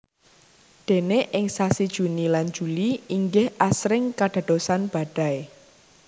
Déné ing sasi Juni lan Juli inggih asring kadadosan badai